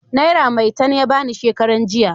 Naira maitan ya ba ni shekaran jiya.